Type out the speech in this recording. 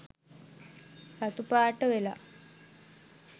රතු පාට වෙලා